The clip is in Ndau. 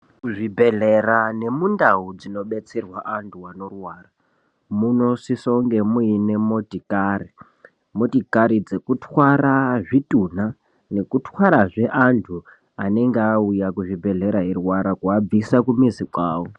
Muzvibhedhlera nemundau dzinobetserwa antu anorwara munosisa kunge muine motikari motikari dzekutwara zvitunha nekutwarazve antu anenge auya kuzvibhedhlera eirwara kuvabvisa kumizi awo.